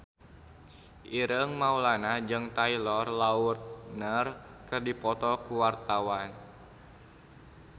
Ireng Maulana jeung Taylor Lautner keur dipoto ku wartawan